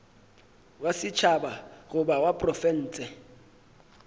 wa setšhaba goba wa profense